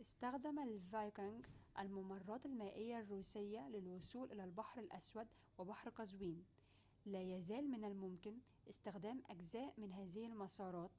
استخدم الفايكنج الممرات المائية الروسية للوصول إلى البحر الأسود وبحر قزوين لا يزال من الممكن استخدامُ أجزاء من هذه المسارات